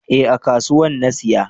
Eh a kasuwan na siya